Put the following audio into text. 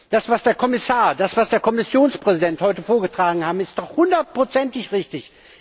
Das, was der Kommissar, der Kommissionspräsident heute vorgetragen haben, ist doch hundertprozentig richtig.